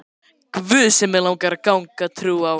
guð sem mig langar að trúa á.